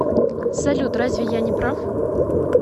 салют разве я не прав